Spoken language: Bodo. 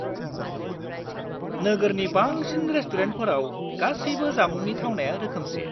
-नोगोरनि बांसिन रेसतुरेन्टफोराव गासैबो जामुंनि थावनाया रोखोमसे।